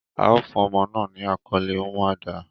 A o fun omo naa ni akole Umuada